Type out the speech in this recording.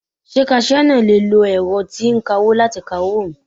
Ṣé kaṣíá náà le lo ẹ̀rọ tí ń kawó láti ka owó mi.